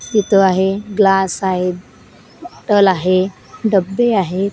इथं आहे ग्लास आहे टल आहे डब्बे आहे.